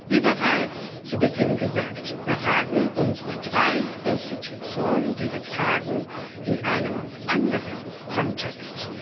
Wie bereits zu Beginn gesagt, beraten unsere drei Institutionen diese Fragen in einem anderen Kontext.